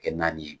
Kɛ naani ye